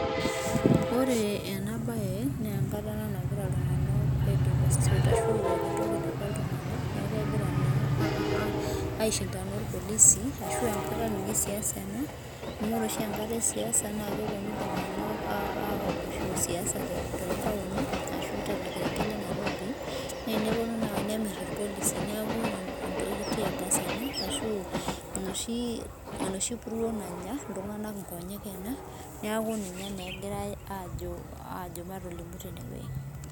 Ore enabae, nenkata ena nagira iltung'anak ai demonstrate ashu eeta entoki naiba iltung'anak, neku kegira naa aishindana orpolisi, ashu enkata ninye esiasa ena, amu ore oshi enkata esiasa na keponu iltung'anak awosho siasa tontaoni, ashu torkerenket le Nairobi, neneponu naa awosh nemir irpolisi. Niaku entoki tear gas, ashu enoshi puruo nanya iltung'anak inkonyek ena, neeku ninye naa egirai ajo matolimu tenewueji.